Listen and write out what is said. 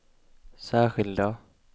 särskilda